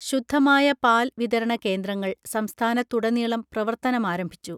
ശുദ്ധമായ പാൽ വിതരണ കേന്ദ്രങ്ങൾ സംസ്ഥാനത്തുടനീളം പ്രവർത്തനമാരംഭിച്ചു